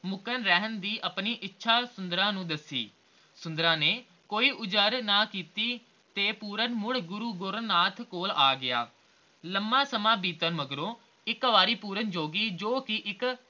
ਰਹਿਣ ਦੀ l ਆਪਣੀ ਇੱਛਾ ਸੁੰਦਰਾਂ ਨੂੰ ਦੱਸੀ ਸੁੰਦਰਾਂ ਨੇ ਕੋਈ ਨਾ ਕੀਤੀ ਤੇ ਪੂਰਨ ਮੁੜ ਗੁਰੂ ਗੋਰਖਨਾਥ ਕੋਲ ਆ ਗਿਆ ਲੰਮਾ ਸਮਾਂ ਬੀਤਣ ਮਗਰੋਂ ਇਕ ਵਾਰੀ ਪੂਰਨ ਜੋਗੀ ਜੋ ਕੇ ਇਕ